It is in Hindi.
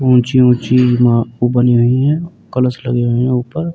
ऊँची-ऊँची ईमा ऊ बनी हुई हैं कलश लगे हुए हैं ऊपर।